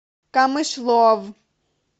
камышлов